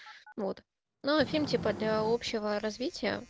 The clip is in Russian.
вот ну фильм типа для общего развития